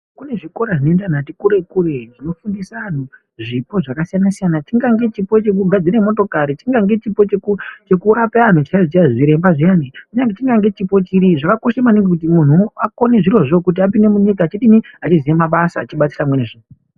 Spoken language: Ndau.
Kune zvikora zvinoenda antu ati kure-kure zvinofundisa antu zvipo zvakasiyana-siyana chingange chipo chekugadzira motokari, chingange chipo chekurape antu chaizvo chaizvo zviremba zviyani kunyangwe chipo chiri zvakakosha maningi kuti muntu akone zvirozvo kuti apinde munyika achidini achiziya mabasa achibatsira amweni ...